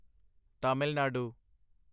Tamil Nadu